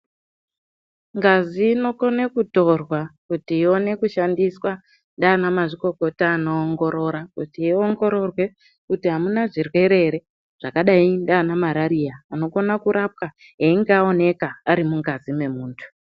Ngazi inokone kutorwa kuti iwone kushandiswa ndiana mazvikokota anoongorora kuti iongororwe kuti amuna zvirwere ere zvakadai ndiana marariya anokona kurapwa einge aoneka ari mungazi memuntu.